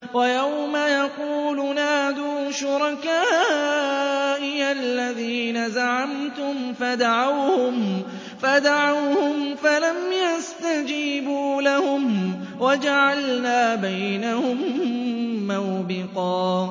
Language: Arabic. وَيَوْمَ يَقُولُ نَادُوا شُرَكَائِيَ الَّذِينَ زَعَمْتُمْ فَدَعَوْهُمْ فَلَمْ يَسْتَجِيبُوا لَهُمْ وَجَعَلْنَا بَيْنَهُم مَّوْبِقًا